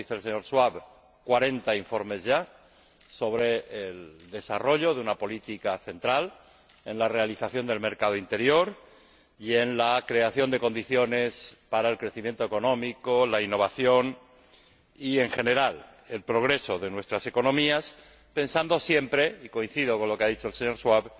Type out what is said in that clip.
como dice el señor Schwab, 40 informes ya sobre el desarrollo de una política central en la realización del mercado interior y en la creación de condiciones para el crecimiento económico, la innovación y, en general, el progreso de nuestras economías, pensando siempre —y coincido con lo que ha dicho el señor Schwab—